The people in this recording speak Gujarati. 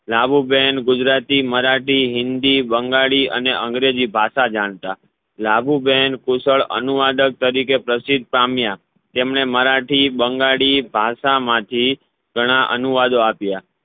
લાભુબેન ગુજરાતી મરાઠી હિન્દી બંગાળી અને અંગ્રેજી ભાષા જાણતા લાભુબેન કુશળ અનુવાદક તરિકે પ્રસિદ્ધિ પામ્યા તેમને મરાઠી બંગાળી ભાષા માંથી ઘણા અનુવાદો આપ્યા